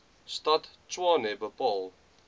stad tshwane bepaal